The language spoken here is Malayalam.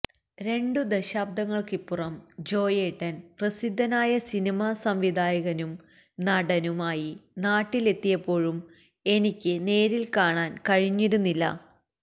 രണ്ടു ദശാബ്ദങ്ങള്ക്കിപ്പുറം ജോയേട്ടന് പ്രസിദ്ധനായ സിനിമ സംവിധായകനും നടനും ആയി നാട്ടിലെത്തിയപ്പോഴും എനിക്ക് നേരില് കാണാന് കഴിഞ്ഞിരുന്നില്ല